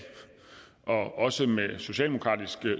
også med socialdemokratisk